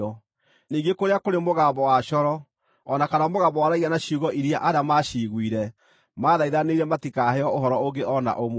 ningĩ kũrĩa kũrĩ mũgambo wa coro, o na kana mũgambo waragia na ciugo iria arĩa maaciguire maathaithanire matikaheo ũhoro ũngĩ o na ũmwe,